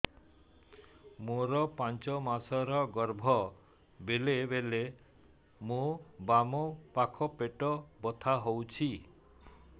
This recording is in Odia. ମୋର ପାଞ୍ଚ ମାସ ର ଗର୍ଭ ବେଳେ ବେଳେ ମୋ ବାମ ପାଖ ପେଟ ବଥା ହଉଛି